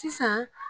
Sisan